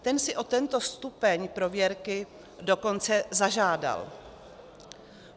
Ten si o tento stupeň prověrky dokonce zažádal.